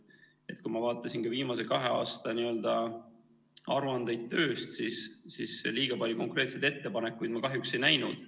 Kui ma vaatasin viimase kahe aasta aruandeid tööst, siis liiga palju konkreetseid ettepanekuid ma kahjuks ei näinud.